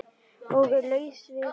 Og laus við